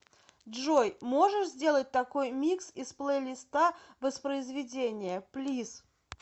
джой можешь сделать такой микс из плейлиста воспроизведения плиз